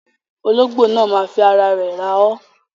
Ologbo náà má fi ara rẹ̀ rá o.